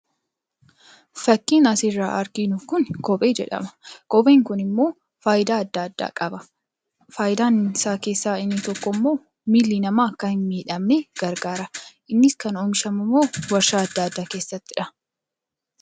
Fakkiin asirraa arginu kun kophee jedhama. Kopheen kun immoo faayidaa adda addaa qaba. Faayidaa isaa keessaa inni tokko immoo miilli namaa akka hin miidhamne gargaara. Innis kan oomishamu immoo warshaa adda addaa keessatti dha.